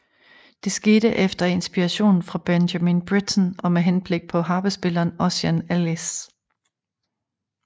Det skete efter inspiration fra Benjamin Britten og med henblik på harpespilleren Ossian Ellis